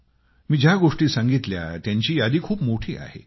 मी जी नावे घेतली आहेत त्यांची यादी खूप मोठी आहे